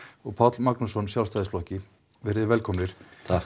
og Páll Magnússon Sjálfstæðisflokki veriði velkomnir